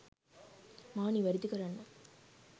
මාව නිවරදි කරන්න.